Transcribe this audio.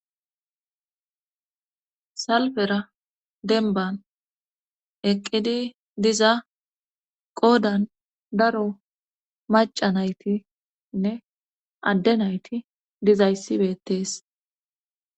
Salfera denban eqqidi diza qoodan daro maca naytinne adde nayti dizayssibeettees.